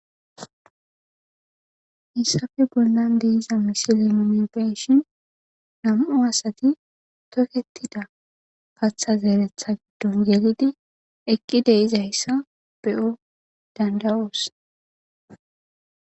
Hayssape bollan de'iza misilen nu be'ishin nam'u asati tokketida kaththa zeretta giddon gellidi eqqi de'izayssa be'o danda'os.